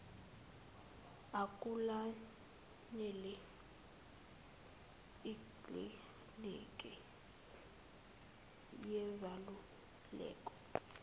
akulayele ikliniki yezaluleko